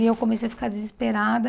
E eu comecei a ficar desesperada.